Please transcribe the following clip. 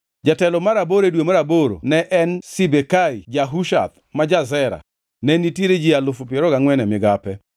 Jatelo mar aboro, e dwe mar aboro ne en Sibekai ja-Hushath ma ja-Zera. Ne nitiere ji alufu piero ariyo gangʼwen (24,000) e migape.